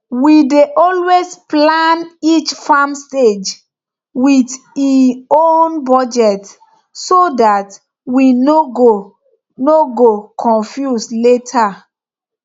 we dey always plan each farm stage with e own budget so dat we no go no go confuse later